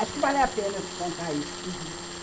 Acho que vale a pena eu te contar isso. Uhum.